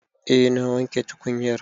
Eh na wanke tukunyar